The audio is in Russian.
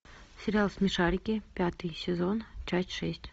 сериал смешарики пятый сезон часть шесть